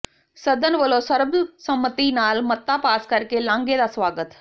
ਸਦਨ ਵੱਲੋਂ ਸਰਬਸੰਮਤੀ ਨਾਲ ਮਤਾ ਪਾਸ ਕਰਕੇ ਲਾਂਘੇ ਦਾ ਸਵਾਗਤ